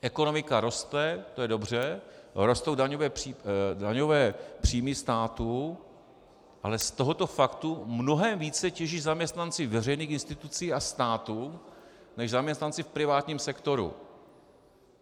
Ekonomika roste, to je dobře, rostou daňové příjmy státu, ale z tohoto faktu mnohem více těží zaměstnanci veřejných institucí a státu než zaměstnanci v privátním sektoru.